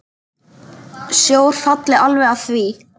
Sjór falli alveg að því.